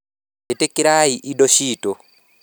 "ĩtĩkĩrai indo ciitũ.